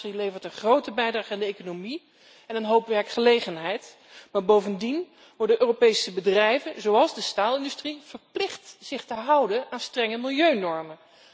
De maakindustrie levert een grote bijdrage aan de economie en een hoop werkgelegenheid, maar bovendien worden Europese bedrijven, zoals de staalindustrie, verplicht zich te houden aan strenge milieunormen.